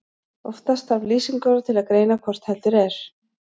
Oftast þarf lýsingarorð til að greina hvort heldur er.